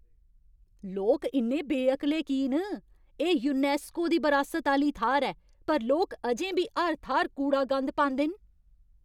लोक इन्ने बेअकले की न? एह् यूनैस्को दी बरासत आह्‌ली थाह्‌र ऐ पर लोक अजें बी हर थाह्‌र कूड़ा गंद पांदे न।